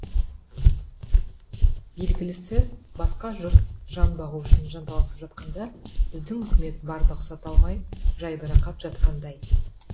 белгілісі басқа жұрт жан бағу үшін жанталасып жатқанда біздің үкімет барды ұқсата алмай жайбарақат жатқандай